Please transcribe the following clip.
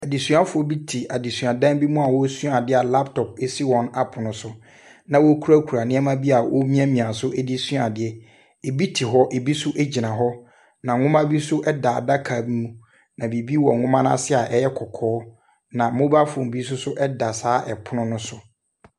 Adesuafoɔ bi te adesuadan bi mu a wɔresua ade a laptop si wɔn apono so. Na wɔkurakura nneɛma bi a wɔremiamia so de resua adeɛ. Bi te hɔ, bi nso gyina hɔ, na nwoma bi nso da adaka bi mu, na biribi wɔ nwoma no ase a ɛyɛ kɔkɔɔ, na mobile phone bi nso da saa pono ne so.